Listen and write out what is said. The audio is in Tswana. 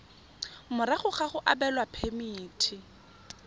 morago ga go abelwa phemiti